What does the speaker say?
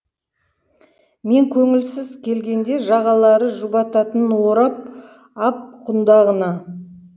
мен көңілсіз келгенде жағалары жұбататын орап ап құндағына